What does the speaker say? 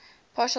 partial test ban